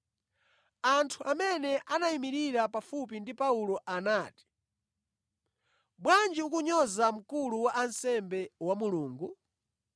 Anthu amene anayimirira pafupi ndi Paulo anati, “Bwanji ukunyoza mkulu wa ansembe wa Mulungu?”